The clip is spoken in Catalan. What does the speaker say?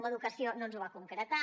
en educació no ens ho va concretar